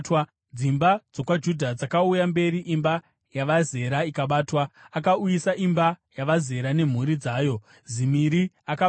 Dzimba dzokwaJudha dzakauya mberi imba yavaZera ikabatwa. Akauyisa imba yavaZera nemhuri dzayo, Zimiri akabatwa.